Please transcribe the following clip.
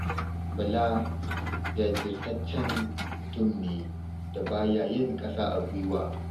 Bala jajirtaccen mutum ne da ba ya yin ƙasa a gwiwa.